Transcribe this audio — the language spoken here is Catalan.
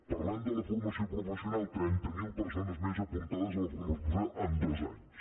parlem de la formació professional trenta mil persones més apuntades a la formació professional en dos anys